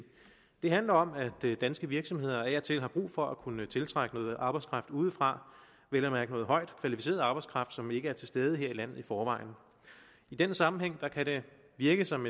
det handler om at danske virksomheder af og til har brug for at kunne tiltrække noget arbejdskraft udefra vel at mærke noget højt kvalificeret arbejdskraft som ikke er til stede her i landet i forvejen i den sammenhæng kan det virke som